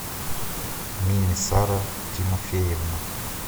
минисара тимофеевна